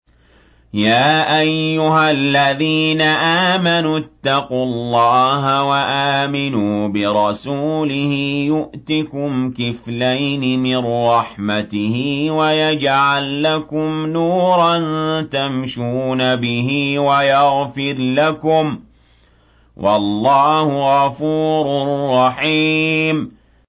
يَا أَيُّهَا الَّذِينَ آمَنُوا اتَّقُوا اللَّهَ وَآمِنُوا بِرَسُولِهِ يُؤْتِكُمْ كِفْلَيْنِ مِن رَّحْمَتِهِ وَيَجْعَل لَّكُمْ نُورًا تَمْشُونَ بِهِ وَيَغْفِرْ لَكُمْ ۚ وَاللَّهُ غَفُورٌ رَّحِيمٌ